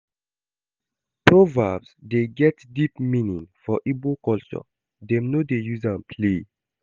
Proverbs dey get deep meaning for Igbo culture, dem no dey use am play.